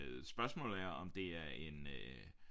Spørgsmålet er om det er en øh